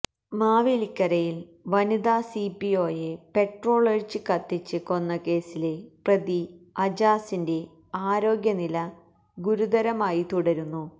മാവേലിക്കരയില് വനിതാ സിപിഒയെ പെട്രോളൊഴിച്ച് കത്തിച്ച് കൊന്ന കേസിലെ പ്രതി അജാസിന്റെ ആരോഗ്യനില ഗുരുതരമായി തുടരുന്നു